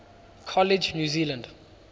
college new zealand